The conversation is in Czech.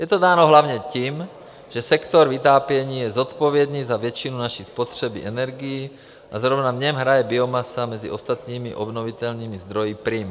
Je to dáno hlavně tím, že sektor vytápění je zodpovědný za většinu naší spotřeby energií a zrovna v něm hraje biomasa mezi ostatními obnovitelnými zdroji prim.